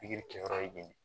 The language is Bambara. Pikiri kɛ yɔrɔ ye